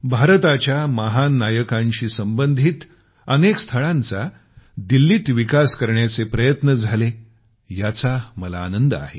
भारताच्या महान नायकांशी संबंधित अनेक स्थळांचा दिल्लीत विकास करण्याचे प्रयत्न झाले याचा मला आनंद आहे